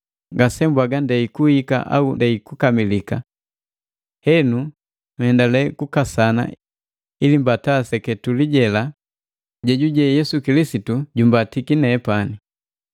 Ngasembwaga ndei kuhika au ndei kukamilika. Henu nhendale kukasana ili mbata seketuli jela jejuje Yesu Kilisitu jumbatiki nepani.